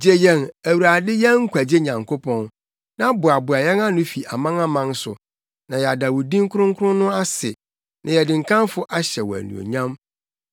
Gye yɛn, Awurade yɛn nkwagye Nyankopɔn, na boaboa yɛn ano fi amanaman so, na yɛada wo din kronkron no ase, na yɛde nkamfo ahyɛ wo anuonyam.